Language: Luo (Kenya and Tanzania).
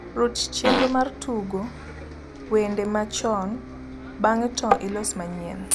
ruch chenro mar tugo wende ma chon ,bang`e to ilos manyien